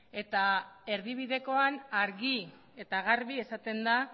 eta erdibidekoan argi eta garbi esaten da